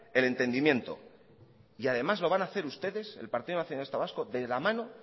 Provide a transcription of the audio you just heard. el entendimiento y además lo van hacer ustedes el partido nacionalista vasco de la mano